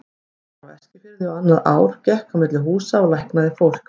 Hún var á Eskifirði á annað ár, gekk á milli húsa og læknaði fólk.